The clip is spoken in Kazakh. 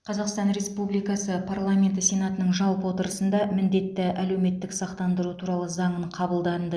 қазақстан республикасы парламенті сенатының жалпы отырысында міндетті әлеуметтік сақтандыру туралы заңын қабылданды